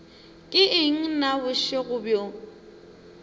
ke eng na bošego bjo